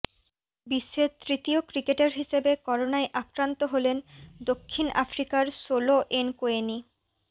বিশ্বের তৃতীয় ক্রিকেটার হিসেবে করোনায় আক্রান্ত হলেন দক্ষিণ আফ্রিকার সোলো এনকোয়েনি